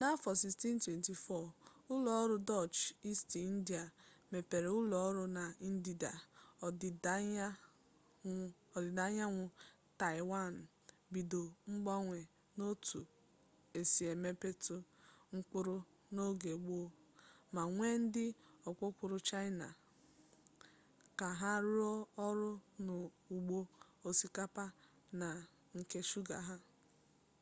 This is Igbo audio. n'afọ 1624 ụlọọrụ dọch isti indịa mepere ụlọọrụ na ndịda ọdịdaanyanwụ taịwan bido mgbanwe n'otu e si emepụta mkpụrụ n'oge gboo ma wee ndị ọkpọkọọrụ chaịna ka ha rụọ ọrụ n'ugbo osikapa na nke shuga ha